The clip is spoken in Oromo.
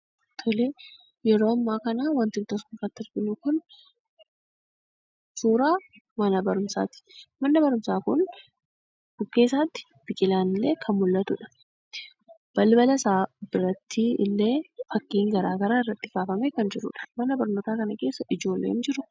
Yeroo ammaa kana wanti nuti as gubbaatti argaa jirru kun suuraa mana barumsaati. Manni barumsaa kun bukkee isaatti biqilaan kan mul'atudha. Balbala isaa fulduratti illee fakkiin garaagagaraa irratti kaafamee, kan jirudha. Mana barnootaa kana keessa ijoolleen jiruu?